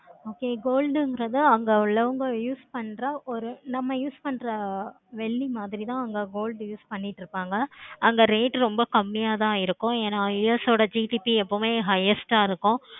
okay gold ங்குறது அங்க உள்ளவங்க use பண்ற ஒரு நம்ம use பண்ற வெள்ளி மாதிரி தான் அங்க gold use பண்ணிட்டு இருப்பாங்க அங்க rate ரொம்ப கம்மியா தான் இருக்கும் ஏன years ஓட highest ஆஹ் இருக்கும்.